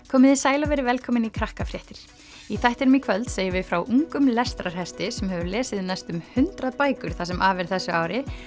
komiði sæl og verið velkomin í í þættinum í kvöld segjum við frá ungum lestrarhesti sem hefur lesið næstum hundrað bækur það sem af er þessu ári